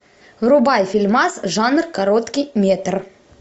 врубай фильмас жанр короткий метр